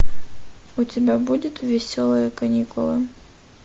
у тебя будет веселые каникулы